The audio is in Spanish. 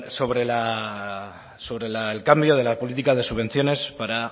sobre el cambio de la política de subvenciones para